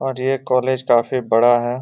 और ये कोलेज काफी बड़ा हैं।